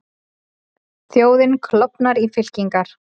Þjóðin klofin í fylkingar